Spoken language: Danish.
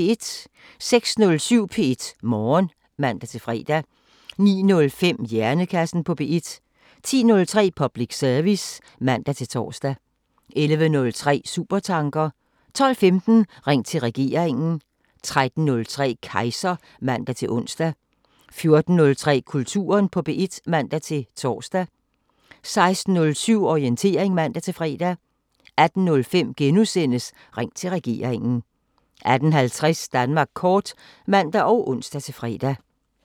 06:07: P1 Morgen (man-fre) 09:05: Hjernekassen på P1 10:03: Public service (man-tor) 11:03: Supertanker 12:15: Ring til regeringen 13:03: Kejser (man-ons) 14:03: Kulturen på P1 (man-tor) 16:07: Orientering (man-fre) 18:05: Ring til regeringen * 18:50: Danmark kort (man og ons-fre)